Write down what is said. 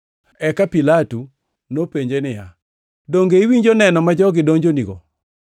Eka Pilato nopenje niya, “Donge iwinjo neno ma jogi donjonigoni?”